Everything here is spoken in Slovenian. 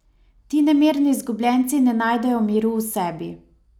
Ti nemirni izgubljenci ne najdejo miru v sebi.